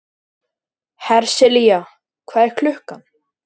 Hersilía, hvað er klukkan?